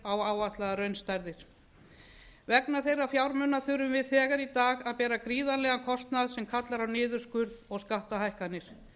á áætlaðar raunstærðir vegna þeirra fjármuna þurfum við þegar í dag að bera gríðarlegan kostnað sem kallar á niðurskurð og skattahækkanir